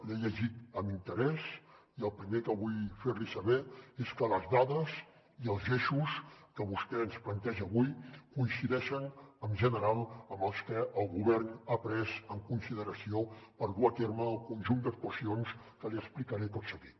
l’he llegit amb interès i el primer que vull fer li saber és que les dades i els eixos que vostè ens planteja avui coincideixen en general amb els que el govern ha pres en consideració per dur a terme el conjunt d’actuacions que li explicaré tot seguit